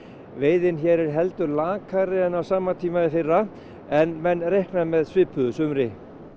veiðin hér er heldur lakari en á sama tíma í fyrra en menn reikna með svipuðu sumri